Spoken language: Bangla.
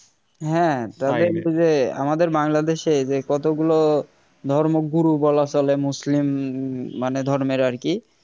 হ্যাঁ তবে যে আমাদের বাংলাদেশে যে কতগুলো ধর্ম গুরু বলা চলে মুসলিম মানে ধর্মের আর কি